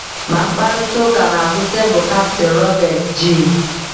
Ma mkparịta ụka n’azụ tebụl Kapten Robert G.